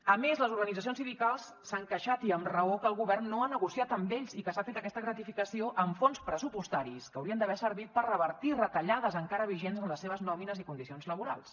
a més les organitzacions sindicals s’han queixat i amb raó que el govern no ha negociat amb ells i que s’ha fet aquesta gratificació amb fons pressupostaris que haurien d’haver servit per revertir retallades encara vigents en les seves nòmines i condicions laborals